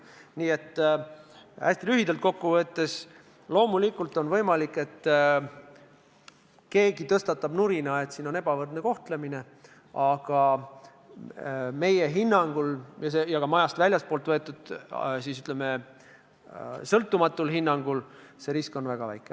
Nii et hästi lühidalt kokku võttes: loomulikult on võimalik, et keegi hakkab nurisema, et tegemist on ebavõrdse kohtlemisega, aga meie hinnangul – ja ka majast väljastpoolt võetud, ütleme, sõltumatul hinnangul – on see risk väga väike.